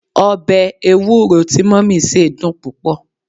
obe ewuro ti mummy se dun pupo